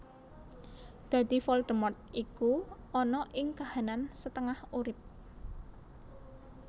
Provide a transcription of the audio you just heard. Dadi Voldemort iku ana ing kahanan setengah urip